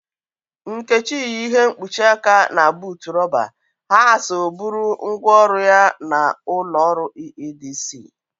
Nkechi yi ihe ịkpụchị aka na bụụtụ roba. Ha so bụrụ ngwa ọrụ ya na ụlọ ọrụ EEDC.